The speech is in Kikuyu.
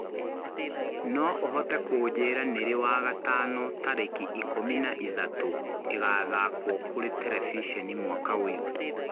no ũhote kũnjĩra nĩ rĩ wa gatano tarĩki ikũmi na ĩthatũ ĩgathakwo kũri terebĩcenĩ mwaka ũyũ